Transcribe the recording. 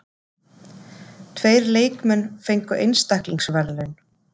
Tveir leikmenn fengu einstaklingsverðlaun.